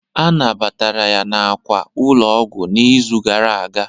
A nabatara ya n'àkwà ụlọ ọgwụ n'izu gara aga